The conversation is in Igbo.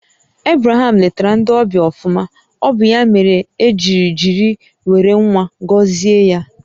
Ebraham lètara ndị ọbịa ọfụma, ọ bụ ya mèrè e ji jiri wéré ńwá gọzie ya